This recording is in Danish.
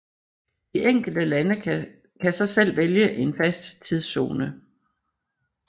De enkelte lande kan så selv vælge en fast tidszone